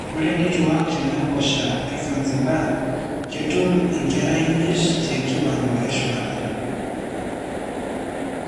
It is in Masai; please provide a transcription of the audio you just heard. Ore nitwak tenaiposha e Zanzibar ketum nkera imiet tekiwango e shumata.